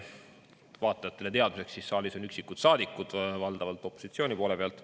Vaatajatele teadmiseks, siis saalis on üksikud saadikud, valdavalt opositsiooni poole pealt.